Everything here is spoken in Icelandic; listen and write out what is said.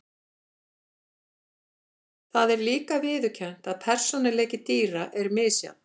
Það er líka viðurkennt að persónuleiki dýra er misjafn.